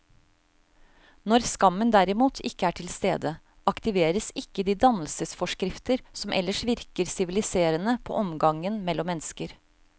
Når skammen derimot ikke er til stede, aktiveres ikke de dannelsesforskrifter som ellers virker siviliserende på omgangen mellom mennesker.